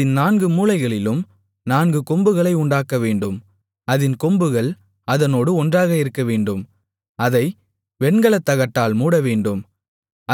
அதின் நான்கு மூலைகளிலும் நான்கு கொம்புகளை உண்டாக்கவேண்டும் அதின் கொம்புகள் அதனோடு ஒன்றாக இருக்கவேண்டும் அதை வெண்கலத் தகட்டால் மூடவேண்டும்